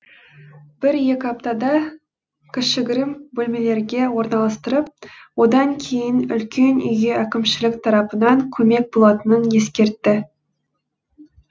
бір екі аптада кішігірім бөлмелерге орналастырып одан кейін үлкен үйге әкімшілік тарапынан көмек болатынын ескертті